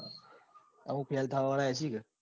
અમુક fail થવા વાળા એ હશે ને?